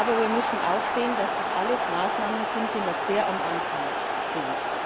Aber wir müssen auch sehen, dass das alles Maßnahmen sind, die noch sehr am Anfang stehen.